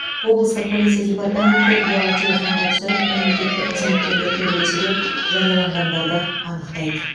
облыстық полиция департаменті ұялы телефонға түсіріп мемлекеттік қызметкерлер төбелесі деп жарияланғандарды анықтайды